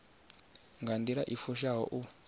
nga nḓila i fushaho u